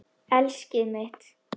Elskið mitt!